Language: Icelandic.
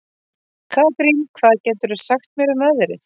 Karín, hvað geturðu sagt mér um veðrið?